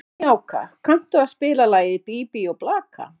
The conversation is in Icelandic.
Snjáka, kanntu að spila lagið „Bí bí og blaka“?